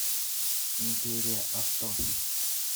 империя авто